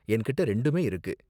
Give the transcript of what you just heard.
என்கிட்ட ரெண்டுமே இருக்கு.